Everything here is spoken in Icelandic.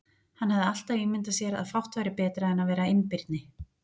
Hann hafði alltaf ímyndað sér að fátt væri betra en að vera einbirni.